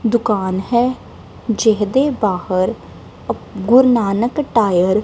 ਦੁਕਾਨ ਹੈ ਜਿਹਦੇ ਬਾਹਰ ਗੁਰੂ ਨਾਨਕ ਟਾਇਰ --